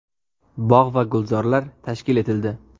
Bog‘ va gulzorlar tashkil etildi.